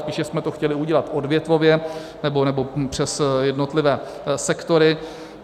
Spíše jsme to chtěli udělat odvětvově nebo přes jednotlivé sektory.